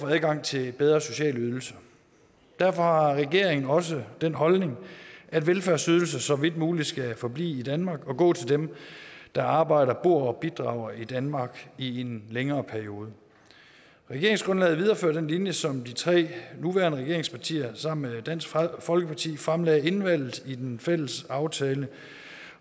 er adgang til bedre sociale ydelser derfor har regeringen også den holdning at velfærdsydelser så vidt muligt skal forblive i danmark og gå til dem der arbejder bor og bidrager i danmark i en længere periode regeringsgrundlaget viderefører den linje som de tre nuværende regeringspartier sammen med dansk folkeparti fremlagde inden valget i den fælles aftale